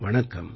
நன்றி